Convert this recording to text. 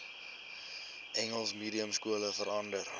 engels mediumskole verander